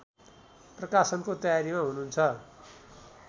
प्रकाशनको तयारीमा हुनुहुन्छ